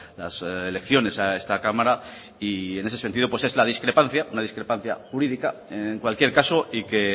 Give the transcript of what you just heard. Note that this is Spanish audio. las elecciones a esta cámara y en ese sentido pues es la discrepancia una discrepancia jurídica en cualquier caso y que